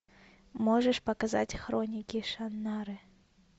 можешь показать хроники шаннары